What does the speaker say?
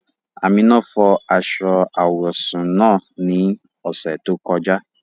Amina fọ́ aṣọ awọsún naá ni ọṣẹ tó kọ̀ja.